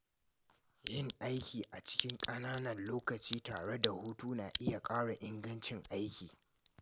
Yin aiki a cikin ƙananan lokaci tare da hutu na iya ƙara ingancin aiki.